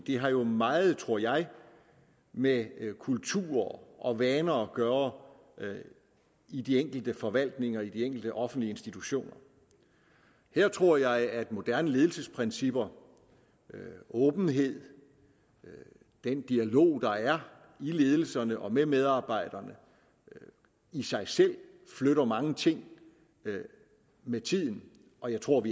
det har jo meget tror jeg med kultur og vaner at gøre i de enkelte forvaltninger og i de enkelte offentlige institutioner her tror jeg at moderne ledelsesprincipper åbenhed og den dialog der er i ledelserne og med medarbejderne i sig selv flytter mange ting med tiden og jeg tror